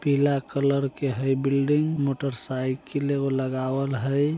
पीला कलर के हई बिल्डिंग | मोटरसाइकिल एगो लगावल हई ।